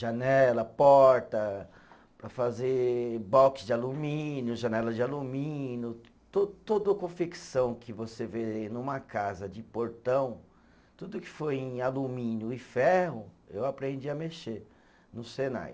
Janela, porta, para fazer box de alumínio, janela de alumínio, to todo o confecção que você vê numa casa de portão, tudo que for em alumínio e ferro, eu aprendi a mexer no Senai.